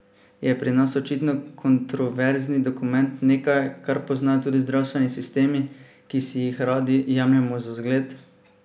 Je pri nas očitno kontroverzni dokument nekaj, kar poznajo tudi zdravstveni sistemi, ki si jih radi jemljemo za zgled?